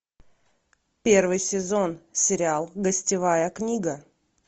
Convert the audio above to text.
первый сезон сериал гостевая книга